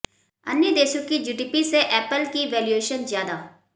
अन्य देशों की जीडीपी से एपल की वैल्यूएशन ज्यादा